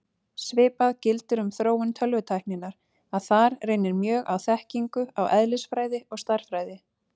Svipað gildir um þróun tölvutækninnar, að þar reynir mjög á þekkingu á eðlisfræði og stærðfræði.